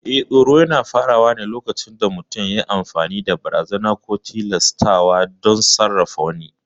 Eh, tsoro yana faruwa ne lokacin da mutum yayi amfani da barazana ko tilastawa don sarrafa wani.